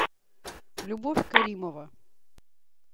любовь каримова